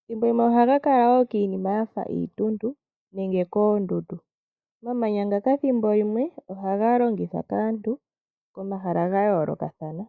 Ethimbo limwe ohaga kala kiinima yimwe yafa iituntu nenge koondundu. Omamanya ngaka ethimbo limwe ohaga longithwa kaantu poma hala ga yoolokathana.